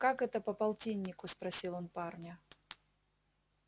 как это по полтиннику спросил он парня